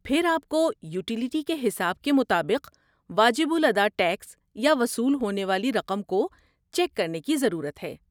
پھر آپ کو یوٹیلٹی کے حساب کے مطابق واجب الادا ٹیکس یا وصول ہونے والی رقم کو چیک کرنے کی ضرورت ہے۔